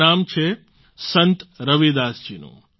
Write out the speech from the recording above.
આ નામ છે સંત રવિદાસ જીનું